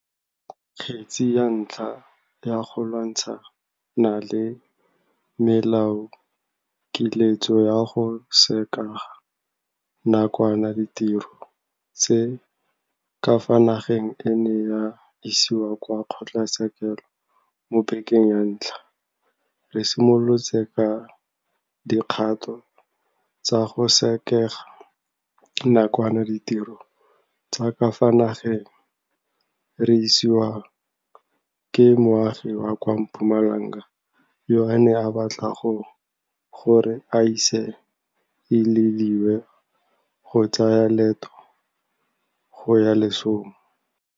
Kgetse ya ntlha ya go lwantshana le melaokiletso ya go sekega nakwana ditiro tsa ka fa nageng e ne ya isiwa kwa kgotlatshekelo mo bekeng ya ntlha re simolotse ka dikgato tsa go sekega nakwana ditiro tsa ka fa nageng re isiwa ke moagi wa kwa Mpumalanga yo a neng a batla gore a se ilediwe go tsaya leeto go ya lesong.